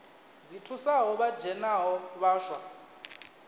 dzi thusaho vha dzhenaho vhaswa